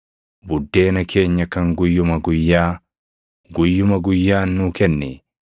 Buddeena keenya kan guyyuma guyyaa, // guyyuma guyyaan nuu kenni.